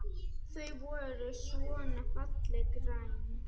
Þau voru svona fallega græn!